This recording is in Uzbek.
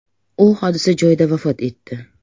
U hodisa joyida vafot etdi.